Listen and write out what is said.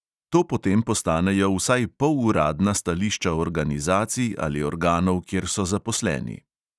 To potem postanejo vsaj poluradna stališča organizacij ali organov, kjer so zaposleni.